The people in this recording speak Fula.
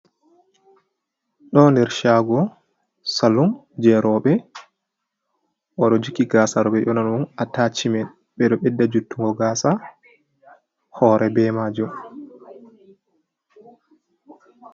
Ɗo nder shaago, salum jei rowɓe. O ɗo jokki gaasa ɗo ɓe ɗo ƴoona ɗum atashimen. Ɓe ɗo ɓedda juttungo gaasa hoore be maajum.